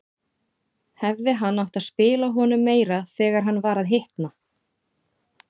Hefði hann átt að spila honum meira þegar hann var að hitna?